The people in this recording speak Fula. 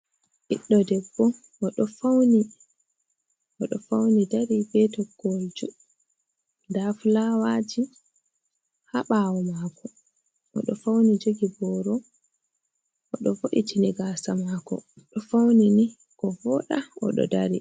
Ɓiɗɗo debbo, oɗo fauni dari be toggowol juɗɗum. Nda fulawaaji haa ɓawo mako. Oɗo fauni jogi booro, oɗo wo’itini gaasa maako. Oɗo fauni ni ko wooɗa, oɗo dari.